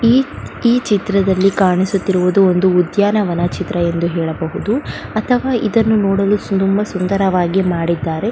ಈ ಚಿತ್ರದಲ್ಲಿ ಕಾಣಿಸುತ್ತಿರಿವುದು ಒಂದು ಉದ್ಯಾನವನ ಚಿತ್ರ ಅಂತ ಹೇಳಬಹುದು ಅಥವಾ ಇದನ್ನು ನೋಡಲು ತುಂಬ ಸುಂದರವಾಗಿ ಮಾಡಿದ್ದಾರೆ.